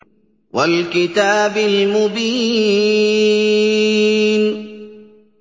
وَالْكِتَابِ الْمُبِينِ